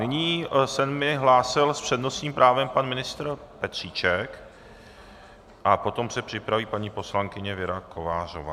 Nyní se mi hlásil s přednostním právem pan ministr Petříček a potom se připraví paní poslankyně Věra Kovářová.